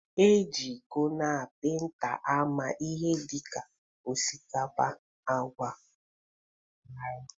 E ji iko na penta ama ihe dịka osikapa, agwa, ọka n'garri